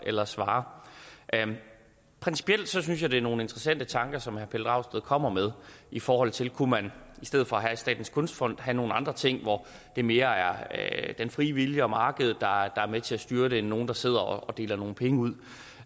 eller svarer principielt synes jeg det er nogle interessante tanker som herre pelle dragsted kommer med i forhold til om man i stedet for statens kunstfond kunne have nogle andre ting hvor det mere er den frie vilje og markedet der er med til at styre det end nogle der sidder og deler nogle penge ud